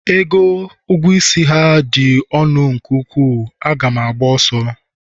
ego ha ji dị ukwuu ka m ga-agba ọsọ